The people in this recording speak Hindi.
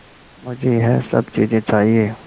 मुझे यह सब चीज़ें चाहिएँ